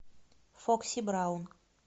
фокси браун